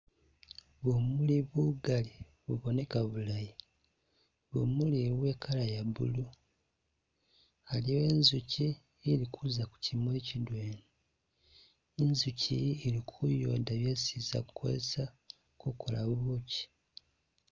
Bumuli bugali buboneka bulayi, bumuli bu bwe'kala ya blue, aliwo e nzuchi ili kuuza kuchimuli chidwena, i'nzuchi iyi ili ku'yooda byesi i'za kukosesa kukola bubuchi